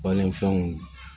Balani fɛnw